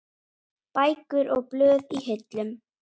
Bækur og blöð í hillum.